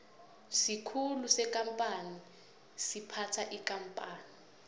isikhulu sekampani siphatha ikampani